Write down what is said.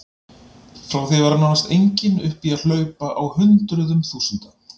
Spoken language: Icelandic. Frá því að vera nánast engin upp í að hlaupa á hundruðum þúsunda.